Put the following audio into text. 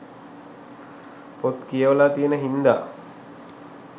පොත් කියවලා තියෙන හින්දා